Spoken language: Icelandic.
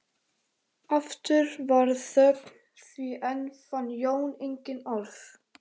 Aftur varð þögn því enn fann Jón engin orð.